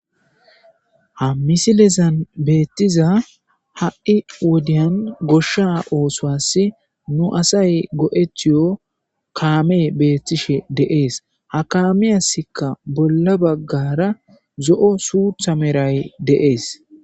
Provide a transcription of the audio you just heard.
Ha misilezan beettiza ha7i wodiyan goshsha oosoas nu asay go7ethiyo kaame beettishe deees ha kaamiyasikka bolla baggara zo7o suutha meray deees